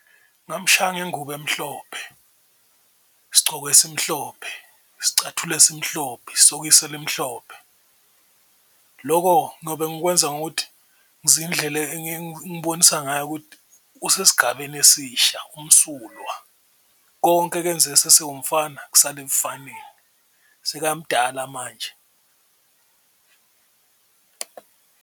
Ngamshaya ngengubo emhlophe, isigcoko simhloniphe, isicathulo esimhlophe, isokisi elimhlophe loko ngiyobe ngikwenza ngokuthi zindlela ngayo ukuthi usesigabeni esisha, umsulwa konke ekenzeke esesewumfana kusala ebufaneni sekamdala manje.